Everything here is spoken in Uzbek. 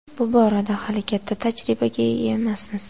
Bu borada hali katta tajribaga ega emasmiz.